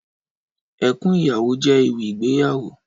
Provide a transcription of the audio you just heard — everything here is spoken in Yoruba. Ẹkún Ìyàwó jè éwì igbéyàwó